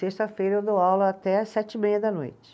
Sexta-feira eu dou aula até às sete e meia da noite.